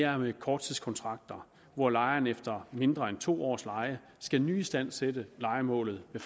om korttidskontrakter hvor lejerne efter mindre end to års leje skal nyistandsætte lejemålet ved